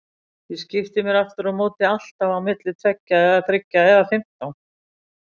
Ég skipti mér afturámóti alltaf á milli tveggja eða þriggja eða fimmtán.